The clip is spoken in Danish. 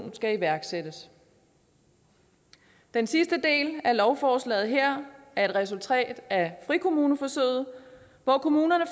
skal iværksættes den sidste del af lovforslaget her er et resultat af frikommuneforsøget hvor kommunerne